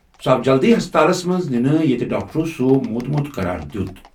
سُہ آو جلدٕیہ ہسپتالس منٛز نِنہٕ ییٚتہِ ڈاکٹرو سُہ موٗدمُت قرار دِیُت۔